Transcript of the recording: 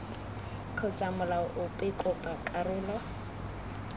kgotsa molao ope kopa karolo